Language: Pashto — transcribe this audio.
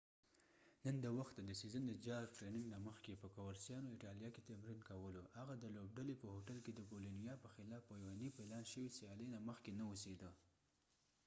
جارک jarque نن د وخته د سیزن د ټریننګ نه مخکې په کورسیانو coverciano ایټالیا کې تمرین کولو . هغه د لوبډلې په هوټل کې د بولونیا boloniaپه خلاف په یوه نی پلان شوي سیالۍ نه مخکې نه اوسیده